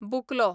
बुकलो